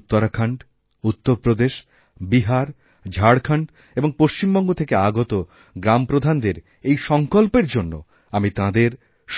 উত্তরাখন্ড উত্তরপ্রদেশ বিহার ঝাড়খন্ড এবং পশ্চিমবঙ্গ থেকে আগত গ্রামপ্রধানদেরএই সংকল্পের জন্য আমি তাঁদের